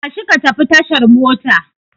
Tashi ka tafi tashar mota!